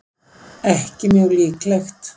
ekki mjög líklegt